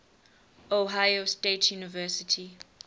ohio state university